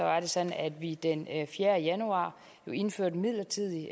var det sådan at vi den fjerde januar indførte midlertidig